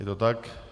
Je to tak.